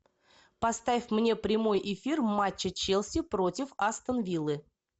поставь мне прямой эфир матча челси против астон виллы